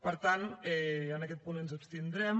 per tant en aquest punt ens abstindrem